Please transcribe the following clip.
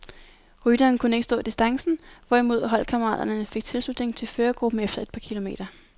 Rytteren kunne ikke stå distancen, hvorimod holdkammeraterne fik tilslutning til førergruppen efter et par kilometer.